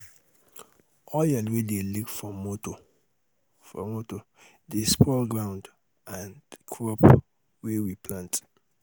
oil wey dey leak um from motor um from motor dey spoil ground um and crop wey we um plant